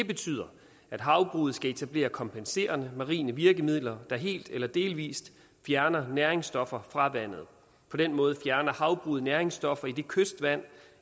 betyder at havbruget skal etablere kompenserende marine virkemidler der helt eller delvist fjerner næringsstoffer fra vandet på den måde fjerner havbruget næringsstoffer i det kystvand